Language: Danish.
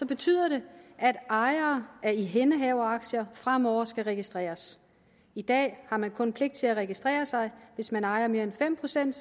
betyder det at ejere af ihændehaveraktier fremover skal registreres i dag har man kun pligt til at registrere sig hvis man ejer mere end fem procent